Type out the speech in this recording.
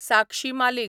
साक्षी मालीक